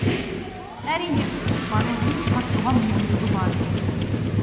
әрине барлығының қатысуға мүмкіндігі бар